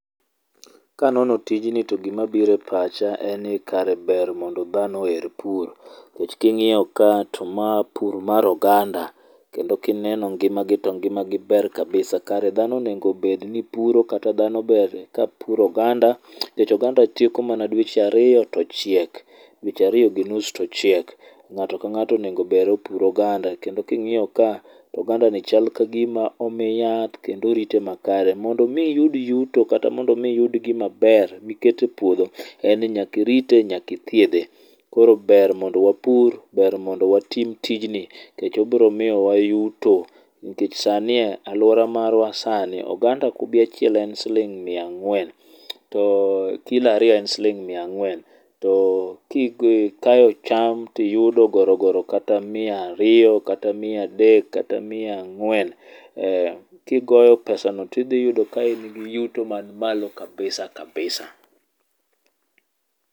Kanono tijni to gima biro e pacha en ni kare ber mondo dhano oher pur. Nikech king'iyo ka to ma pur mar oganda. Kendo kineno ngima gi to ngima gi ber kabisa. Kare dhano onego bed ni puro kata dhano ber ka puro oganda nikech oganda tieko mana dweche ariyo to ochiek. Dweche ariyo gi nus to ochiek. Ng'ato ka ng'ato onengo ber opur oganda kendo king'iyo ka oganda ni chal kagima omi yath kendo orite makare. Mondo mi iyud yuto kata mondo mi iyud gima ber mikete e puodho en ni nyakirite nyakithiedhe. Koro ber mondo wapur ber mondo watim tijni. Nikech obiro miyowa yuto. Nikech sa ni aluora marwa sani oganda kube achiel en siling' mia ang'wen. To [ckilo ariyo en siling' mia ang'wen. To kikayo cham tiyudo goro goro kata mia ariyo kata mia adek kata mia ang'wen kigoyo pesano tidhi yudo ka in gi yuto man malo kabisa kabisa.